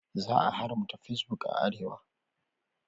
Za a haramta fesbok a arewa.